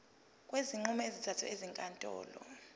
kwezinqumo ezithathwe ezinkantolo